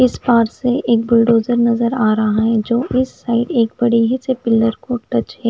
इस पार से एक बुल्डोजर नजर आ रहा है जो इस साइड एक बड़ी ही पिलर को टच है।